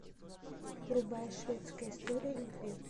врубай шведская история любви